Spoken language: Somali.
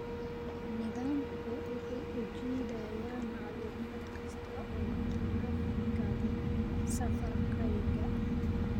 Nidaamku wuxuu u jiidayaa macluumaad kasta oo taraafikada safarkayga